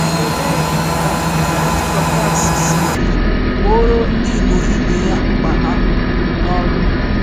Olee um otú Dọkas siri gbooro Ndị Igbo ibe ya mkpa ha? um